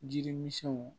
Jiri misɛnw